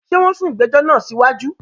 Ṣé wọn sún ìgbẹ̀jọ̀ náà sí wájú?